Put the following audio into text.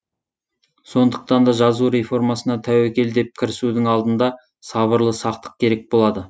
сондықтан да жазу реформасына тәуекел деп кірісудің алдында сабырлы сақтық керек болады